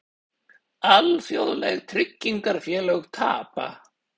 Alþjóðleg tryggingafélög tapa